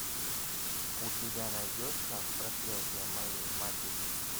у тебя найдется проклятие моей матери